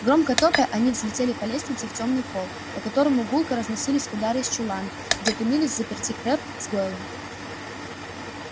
громко топая они взлетели по лестнице в тёмный холл по которому гулко разносились удары из чулана где томились взаперти крэбб с гойлом